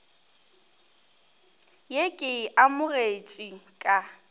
ye ke e amogetšego ka